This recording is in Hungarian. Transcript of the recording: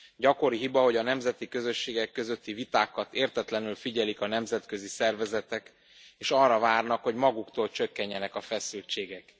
Gyakori hiba, hogy a nemzeti közösségek közötti vitákat értetlenül figyelik a nemzetközi szervezetek, és arra várnak, hogy maguktól csökkenjenek a feszültségek.